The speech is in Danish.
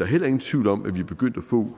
er heller ingen tvivl om at vi er begyndt at få